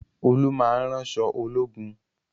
Olú máa ń ránṣọ ológun